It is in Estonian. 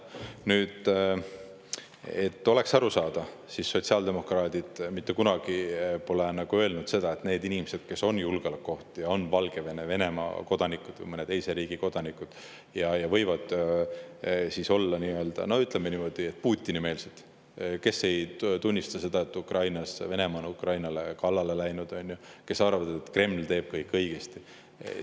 Nüüd, et oleks arusaadav: sotsiaaldemokraadid pole mitte kunagi öelnud seda, et need inimesed, kes on julgeolekuoht, kes on Valgevene, Venemaa või mõne teise riigi kodanikud ja võivad olla, ütleme niimoodi, Putini-meelsed, kes ei tunnista seda, et Venemaa on Ukrainale kallale läinud, ja arvavad, et Kreml teeb kõik õigesti,.